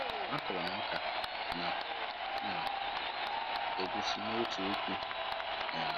A kụrụ m ọka na na egwusi n'otu uku um